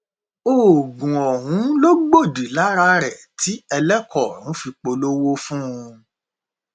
oògùn ọhún ló gbòdì lára rẹ tí ẹlẹkọ ọrun fi polówó fún un